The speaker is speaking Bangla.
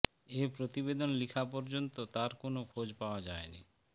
এ প্রতিবেদন লিখা পর্যন্ত তার কোন খোজ পাওয়া যায়নি